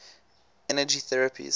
energy therapies